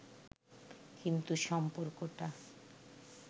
কিন্তু সম্পর্কটা